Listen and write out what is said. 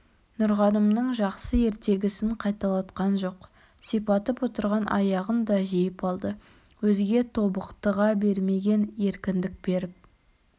нұрғанымның жақсы ертегісін қайталатқан жоқ сипатып отырған аяғын да жиып алды өзге тобықтыға бермеген еркіндік беріп